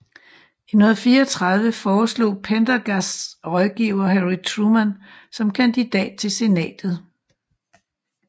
I 1934 foreslog Pendergasts rådgivere Harry Truman som kandidat til Senatet